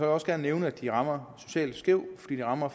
også gerne nævne at de rammer socialt skævt fordi de rammer